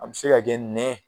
A bI se ka kɛ nɛn